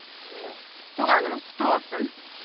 ия туған күніңіз құтты болсын